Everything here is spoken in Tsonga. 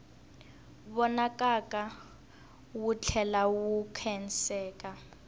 vonakaka wu tlhela wu khenseka